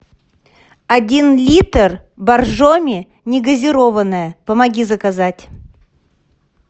один литр боржоми негазированная помоги заказать